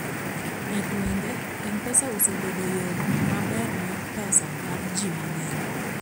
e gwenge, mpesa osebedo yoo maber mar pesa mar jii mang'eny